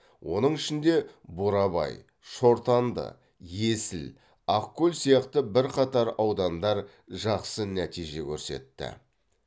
оның ішінде бурабай шортанды есіл ақкөл сияқты бірқатар аудандар жақсы нәтиже көрсетті